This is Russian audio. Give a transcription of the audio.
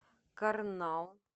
карнал